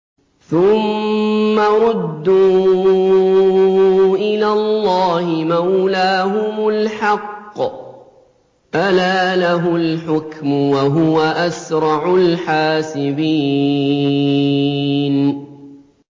ثُمَّ رُدُّوا إِلَى اللَّهِ مَوْلَاهُمُ الْحَقِّ ۚ أَلَا لَهُ الْحُكْمُ وَهُوَ أَسْرَعُ الْحَاسِبِينَ